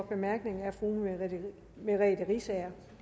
bemærkning er fru merete riisager